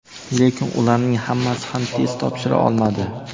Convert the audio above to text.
lekin ularning hammasi ham test topshira olmadi.